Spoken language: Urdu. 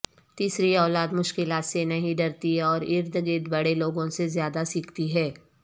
تیسری اولاد مشکلات سے نہیں ڈرتی اور ارد گرد بڑے لوگوں سے زیادہ سیکھتی ہے